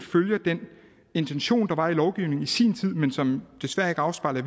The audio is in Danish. intention der var i lovgivningen i sin tid men som desværre ikke afspejler